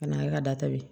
Ka na e ka da tabi